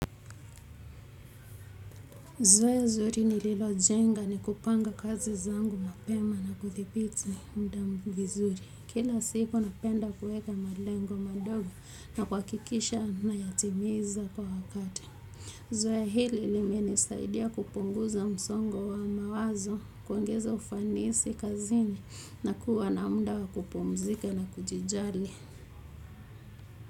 Zoea zuri nililojenga ni kupanga kazi zangu mapema na kuthibiti muda vizuri. Kila siku napenda kuweka malengo madogo na kuhakikisha nayatimiza kwa wakati. Zoea hili limenisaidia kupunguza msongo wa mawazo, kuongeza ufanisi kazini na kuwa na muda wa kupumzika na kujijali.